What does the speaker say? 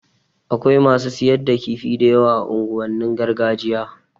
Akwai masu siyar da kifi da yawa a unguwannin gargajiya